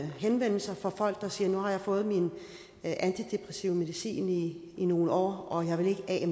henvendelser fra folk der siger nu har jeg fået min antidepressive medicin i nogle år og jeg vil ikke